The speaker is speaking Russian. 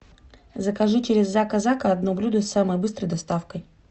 закажи через зака зака одно блюдо с самой быстрой доставкой